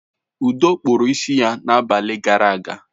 Udo kpụrụ isi ya na abalị gara aga.